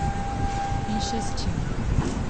In še s čim.